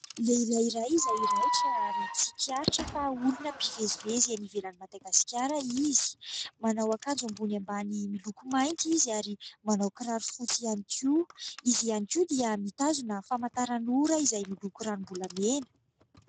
Lehilahy iray izay raitra ary tsikaritra fa olona mpivezivezy any ivelan'i Madagasikara izy. Manao akanjo ambony ambany miloko mainty izy ary manao kiraro fotsy ihany koa. Izy ihany koa dia mitazona famantaranora izay miloko ranom-bolamena.